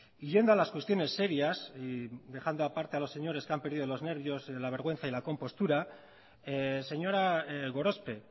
y yendo a las cuestiones serias y dejando aparte a los señores que han perdido los nervios la vergüenza y la compostura señora gorospe